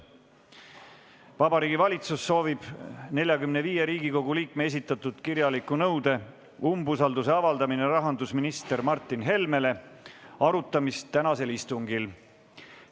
Vabariigi Valitsus soovib 45 Riigikogu liikme esitatud kirjaliku nõude "Umbusalduse avaldamine rahandusminister Martin Helmele" arutamist tänasel istungil.